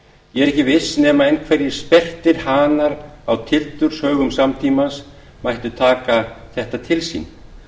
ég er ekki viss nema einhverjir sperrtir hanar á tildurshaugum samtímans mættu taka þetta til sín